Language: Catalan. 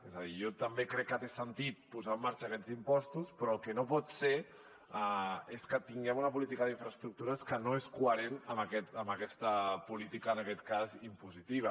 és a dir jo també crec que té sentit posar en marxa aquests impostos però el que no pot ser és que tinguem una política d’infraestructures que no és coherent amb aquesta política en aquest cas impositiva